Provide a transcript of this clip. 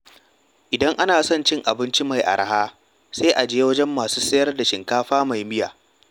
Idan ana son abinci mai araha, sai a je wajen masu sayar da shinkafa mai miya.